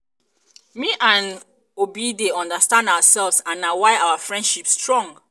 me and obi dey understand ourselves and na why our friendship strong